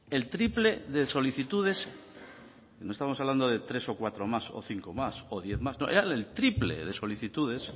el triple de solicitudes no estamos hablando de tres o cuatro más o cinco más o diez más no eran el triple de solicitudes